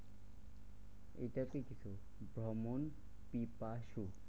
এটা কি ভ্রমণ পিপাসু।